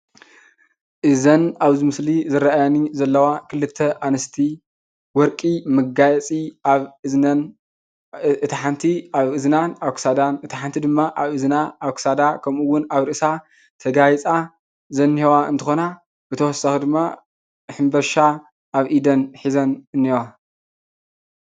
እዘን ኣብዚ ምስሊ ዝረኣያኒ ዘለዋ ክልተ ኣንስቲ ወርቂ መጋየፂ ኣብ እዝነን እታ ሓንቲ ኣብ እዝናን ኣብ ክሳዳን እታ ሓንቲ ድማ ኣብ እዝና፣ ኣብ ክሳዳ ከምእውን ኣብ ርእሳ ተጋይፃ ዝኒአዋ እንትኮና ብተወሳኪ ድማ ሕንበሻ ኣብ ኢደን ሒዘን እኒአዋ።